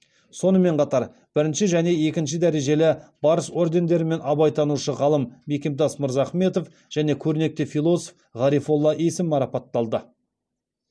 сонымен қатар бірінші және екінші дәрежелі барыс ордендерімен абайтанушы ғалым мекемтас мырзахметов және көрнекті философ ғарифолла есім марапатталды